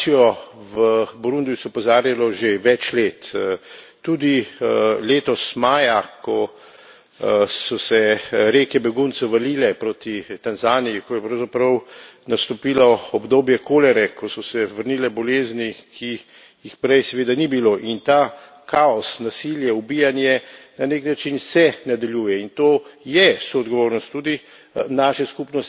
Na situacijo v Burundiju se je opozarjalo že več let, tudi letos maja, ko so se reke beguncev valile proti Tanzaniji, ko je pravzaprav nastopilo obdobje kolere, ko so se vrnile bolezni, ki jih prej seveda ni bilo. In ta kaos, nasilje, ubijanje na nek način se nadaljuje in to je soodgovornost tudi